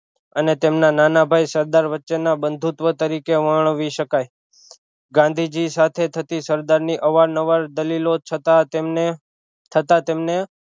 અને તેમના નાના ભાઈ સરદાર વચ્ચે નો બંધુત્વ તરીકે વર્ણવી શકાઈ ગાંધીજી સાથે થતી સરદાર ની અવારનવાર દલીલો છતાં તેમણે છતાં તેમણે